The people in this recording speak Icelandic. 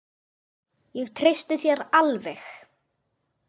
Ég treysti þér alveg.